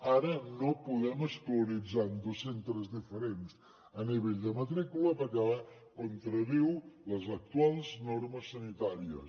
ara no podem escolaritzar en dos centres diferents a nivell de matrícula perquè contradiu les actuals normes sanitàries